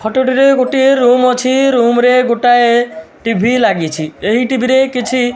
ଫଟଟି ରେ ଗୋଟିଏ ରୁମ ଅଛି ରୁମ ରେ ଗୋଟାଏ ଟିଭି ଲାଗିଚି ଏଇ ଟିଭି ରେ କିଛି --